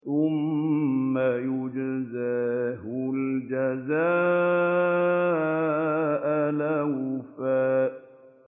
ثُمَّ يُجْزَاهُ الْجَزَاءَ الْأَوْفَىٰ